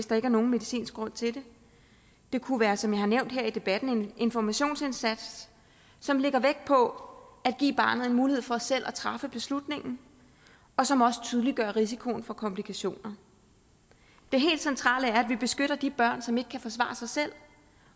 der er nogen medicinsk grund til det det kunne være som jeg har nævnt her i debatten en informationsindsats som lægger vægt på at give barnet en mulighed for selv at træffe beslutningen og som også tydeliggør risikoen for komplikationer det helt centrale er at vi beskytter de børn som ikke kan forsvare sig selv